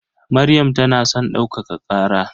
Maryam tana son ɗaukaka ƙara.